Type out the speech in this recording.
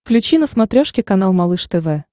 включи на смотрешке канал малыш тв